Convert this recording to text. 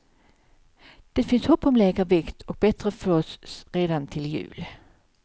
Det finns hopp om lägre vikt och bättre flås redan till jul.